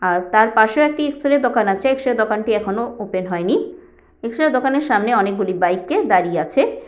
আর তার পাশে ও একটি এক্সরে দোকান আছে এক্সরে দোকানটি এখনো ওপেন হয়নি। এক্সরে দোকানের সামনে অনেক গুলি বাইকে দাঁড়িয়ে আছে।